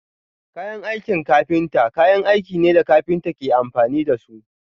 Kayan aikin kafinta kayan aikin ne da kafinta ke amfani da su.